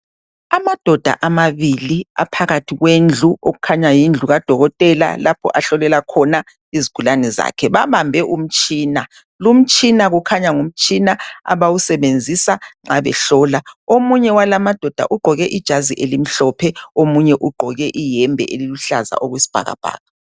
Amadoda amabili aphakathi kwendlu okukhanya yindlu kadokotela lapho ahlolela khona izigulane zakhe. Babambe umtshina, lumtshina lo ukhanya ngumtshina abawusebenzisa nxa behlola. Omunye walamadoda ugqoke ijazi elimhlophe, omunye ugqoke iyembe eluhlaza okwesibhakabhaka.